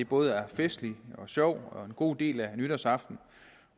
både festligt og sjovt og en god del af nytårsaften